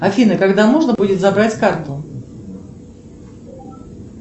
афина когда можно будет забрать карту